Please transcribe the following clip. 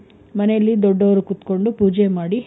ಮನೆಯಲ್ಲಿ ದೊಡ್ಡವರು ಕುತ್ಕೊಂಡು ಪೂಜೆ ಮಾಡಿ,